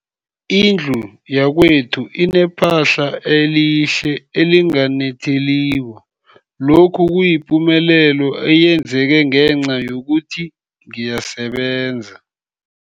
Indlu yakwethu inephahla elihle, elinganetheliko, lokhu kuyipumelelo eyenzeke ngenca yokuthi ngiyasebenza.